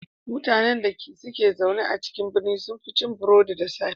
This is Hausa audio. Mutanen dake zaune a birane sun fi cin burodi da safe.